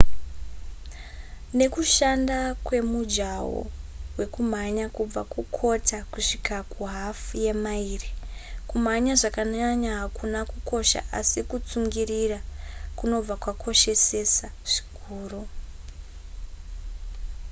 nekushanduka kwemujaho wekumhanya kubva kukota kusvika kuhafu yemaira kumhanya zvakanyanya hakuna kukosha asi kutsungirira kunobva kwakoshesesa zvikuru